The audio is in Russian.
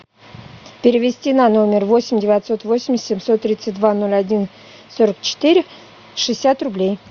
перевести на номер восемь девятьсот восемьдесят семьсот тридцать два ноль один сорок четыре шестьдесят рублей